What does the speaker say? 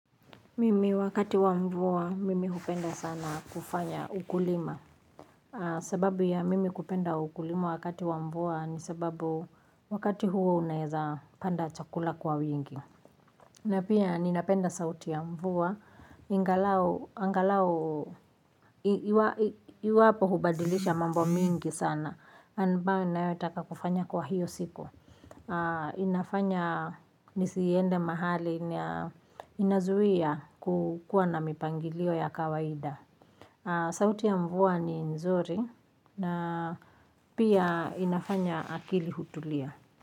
Mimi wakati wa mvua, mimi hupenda sana kufanya ukulima. Sababu ya mimi kupenda ukulima wakati wa mvua ni sababu wakati huo unaezapanda chakula kwa wingi. Na pia ninapenda sauti ya mvua. Ingalau, angalau, iwapo hubadilisha mambo mingi sana. Ambayo ninayotaka kufanya kwa hiyo siku. Inafanya nisiende mahali inazuia kukuwa na mipangilio ya kawaida. Sauti ya mvua ni nzuri na pia inafanya akili kutulia.